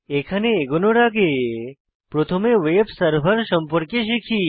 এখানে এগোনোর আগে প্রথমে ভেব সার্ভার সম্পর্কে শিখি